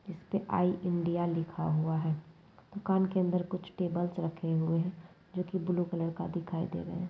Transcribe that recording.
इस पे I India लिखा हुआ है दुकान के अंदर कुछ टेबल्स रखे हुए है जो की ब्लू कलर का दिखाई दे रहे है।